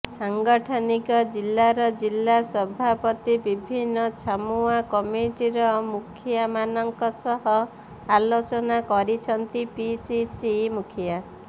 ସାଂଗଠନିକ ଜିଲ୍ଲାର ଜିଲ୍ଲା ସଭାପତି ବିଭିନ୍ନି ଛାମୁଆ କମିଟିର ମୁଖିଆମାନଙ୍କ ସହ ଆଲୋଚନା କରିଛନ୍ତି ପିସିସି ମୁଖିଆ